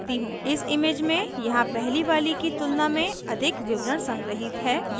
इस image में यहाँ पहली वाली की तुलना में अधिक विवरण संग्रहीत हैं